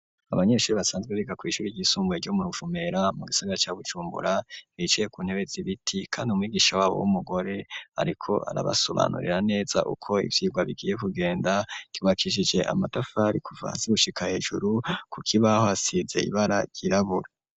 Abanyeshuri basanzwe biga kw'ishuri ry'isumbuye ryo mu Ruvumera mu gisaga ca Bujumbura bicaye ku ntebe zibiti kandi umwigisha wabo w'umugore ariko arabasobanurira neza uko ivyirwa bigiye kugenda ryubakishije amatafari kuva gushika hejuru ku kibaho hasize ibara ryirabura.